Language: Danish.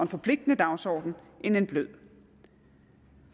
forpligtende dagsorden end en blød